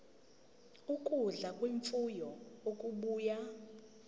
ukudla kwemfuyo okubuya